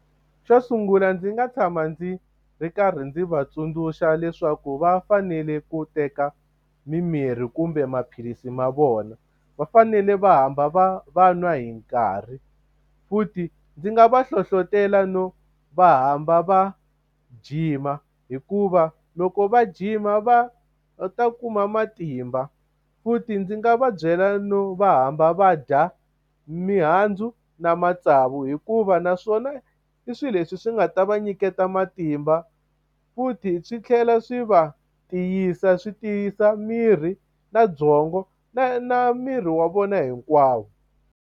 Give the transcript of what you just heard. Xo sungula ndzi nga tshama ndzi ndzi karhi ndzi va tsundzuxa leswaku va fanele ku teka mimirhi kumbe maphilisi ma vona. Va fanele va hamba va va nwa hi nkarhi, futhi ndzi nga va hlohlotelo no va hamba va jima hikuva loko va jima va ta kuma matimba. Futhi ndzi nga va byela no va hamba va dya mihandzu na matsavu hikuva naswona i swilo leswi swi nga ta va nyiketa matimba, futhi swi tlhela swi va tiyisa swi tiyisa miri, na byongo, na na miri wa vona hinkwavo.